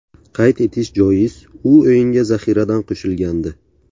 Qayd etish joiz, u o‘yinga zaxiradan qo‘shilgandi.